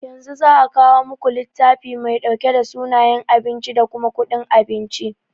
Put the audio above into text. Yanzu za'a kawo muku littafi mai ɗauke da sunayen abinci da kuma kuɗin abincin.